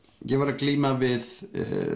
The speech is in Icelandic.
ég var að glíma við